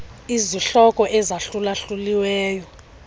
izihloko ezahlula hluliweyo